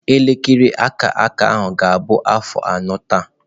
Elekere aka aka ahụ ga-abụ afọ anọ taa.